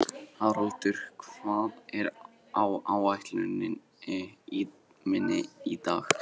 Haraldur, hvað er á áætluninni minni í dag?